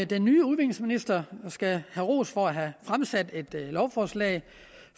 den nye udviklingsminister skal have ros for at have fremsat dette lovforslag